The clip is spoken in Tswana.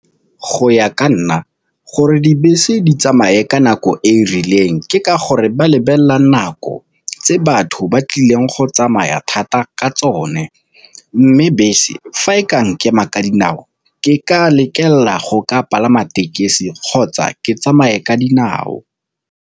Go ya ka nna gore dibese di tsamaye ka nako e e rileng ke ka gore ba lebelela nako tse batho ba tlileng go tsamaya thata ka tsone, mme bese fa e ka nkema ka dinao ke ka lekelela go ka palama tekesi kgotsa ke tsamaye ka dinao.